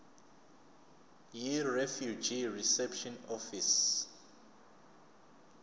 yirefugee reception office